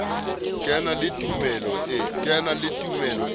ke na le tumelo e